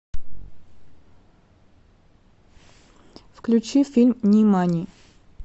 включи фильм нимани